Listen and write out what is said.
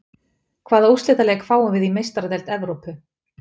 Hvaða úrslitaleik fáum við í Meistaradeild Evrópu?